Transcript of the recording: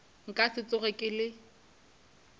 nka se tsoge ke le